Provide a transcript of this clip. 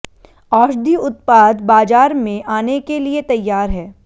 औषधि उत्पाद बाजार में आने के लिए तैयार है